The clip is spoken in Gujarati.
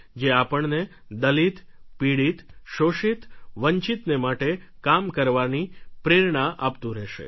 જે આપણને દલિત પીડિત શોષિત વંચિતને માટે કામ કરવાની પ્રેરણા આપતું રહેશે